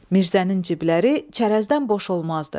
Mirzənin cibləri çərəzdən boş olmazdı.